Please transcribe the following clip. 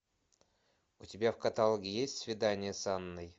у тебя в каталоге есть свидание с анной